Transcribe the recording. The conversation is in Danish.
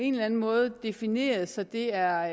en eller en måde have defineret så det er